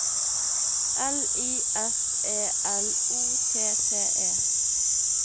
L I S E L O T T E